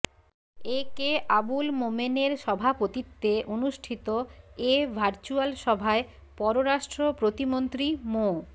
এ K আবুল মোমেনের সভাপতিত্বে অনুষ্ঠিত এ ভার্চ্যুয়াল সভায় পররাষ্ট্র প্রতিমন্ত্রী মো